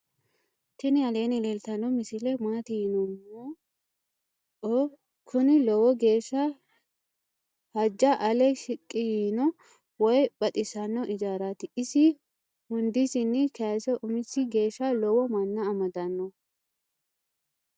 tini aleni leltano misile maati yinumoeo. kunni loowo gesha haja alle shiqi yiino woyo baxisanoijarati. isi hundisini kayise umisi geesha loowo mana amadano.